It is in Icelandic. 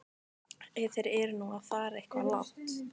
Ef þeir eru nú að fara eitthvað langt.